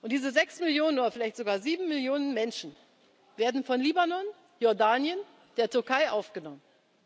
Iraks. Diese sechs Millionen oder vielleicht sogar sieben Millionen Menschen werden von Libanon, Jordanien, der Türkei aufgenommen.